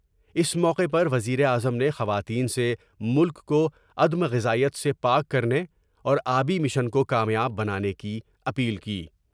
اس موقع پر وزیراعظم نے خواتین سے ملک کو عدم غذائیت سے پاک کرنے اور آبی مشن کو کامیاب بنانے کی اپیل کی ۔